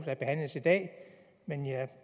der behandles i dag men jeg